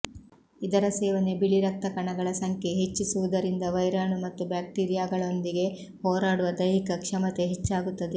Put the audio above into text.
ಇದರ ಸೇವನೆ ಬಿಳಿರಕ್ತಕಣಗಳ ಸಂಖ್ಯೆ ಹೆಚ್ಚಿಸುವುದರಿಂದ ವೈರಾಣು ಮತ್ತು ಬ್ಯಾಕ್ಟೀರೀಯಾಗಳೊಂದಿಗೆ ಹೋರಾಡುವ ದೈಹಿಕ ಕ್ಷಮತೆ ಹೆಚ್ಚಾಗುತ್ತದೆ